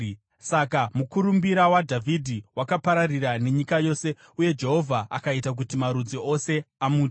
Saka mukurumbira waDhavhidhi wakapararira nenyika yose uye Jehovha akaita kuti marudzi ose amutye.